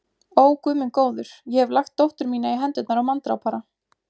Ó, Guð minn góður, ég hef lagt dóttur mína í hendurnar á manndrápara.